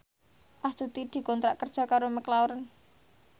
Astuti dikontrak kerja karo McLarren